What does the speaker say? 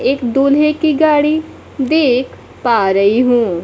एक दूल्हे की गाड़ी देख पा रही हूं।